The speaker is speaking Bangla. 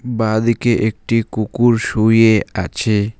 বাঁদিকে একটি কুকুর শুয়ে আছে।